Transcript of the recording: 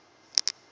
lgbt jews